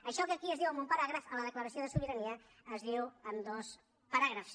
això que aquí es diu en un paràgraf a la declaració de sobirania es diu en dos paràgrafs